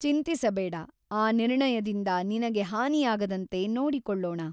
ಚಿಂತಿಸಬೇಡ ಆ ನಿರ್ಣಯದಿಂದ ನಿನಗೆ ಹಾನಿಯಾಗದಂತೆ ನೋಡಿಕೊಳ್ಳೋಣ.